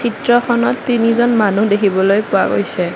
চিত্ৰখনত তিনিজন মানুহ দেখিবলৈ পোৱা গৈছে।